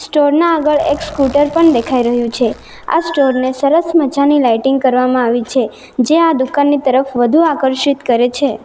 Store ના આગળ એક સ્કૂટર પણ દેખાઈ રહ્યું છે આ સ્ટોર ને સરસ મજાની લાઇટિંગ કરવામાં આવી છે જે આ દુકાનની તરફ વધુ આકર્ષિત કરે છે.